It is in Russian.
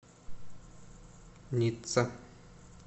ницца